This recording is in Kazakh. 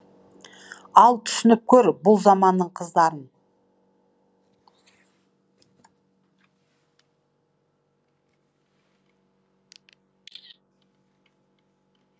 ал түсініп көр бұл заманның қыздарын